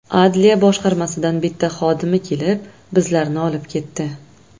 Adliya boshqarmasidan bitta xodimi kelib bizlarni olib ketdi.